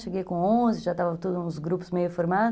Cheguei com onze, já estava todos os grupos meio formados.